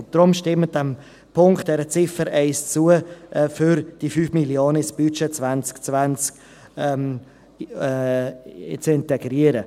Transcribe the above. Deshalb: Stimmen Sie diesem Punkt, dieser Ziffer 1 zu, um diese 5 Mio. Franken ins Budget 2020 zu integrieren.